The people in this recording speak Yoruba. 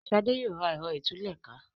Shade yóò rà Ẹ̀rọ ìtúlẹ̀ká.